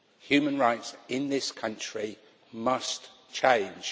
Human rights in this country must change.